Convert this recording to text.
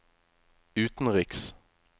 utenriks